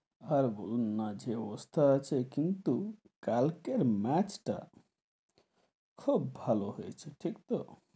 আর বলুন না যে অবস্থা আছে কিন্তু কালকের match টা খুব হলো হয়েছে, ঠিক তো,